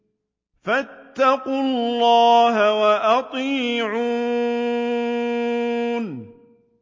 فَاتَّقُوا اللَّهَ وَأَطِيعُونِ